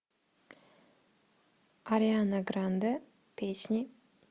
ариана гранде песни